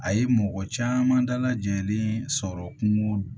A ye mɔgɔ caman dalajɛlen sɔrɔ kungo